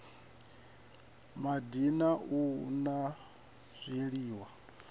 madi na u la zwiliwa